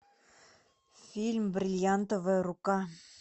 фильм бриллиантовая рука